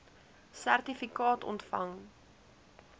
sertifikaat ontvang